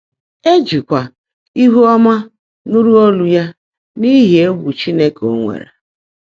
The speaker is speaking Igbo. “É jị́kwá íhú ọ́mã nụ́rụ́ ólú yá n’íhí égwù Chínekè ó nwèèré.”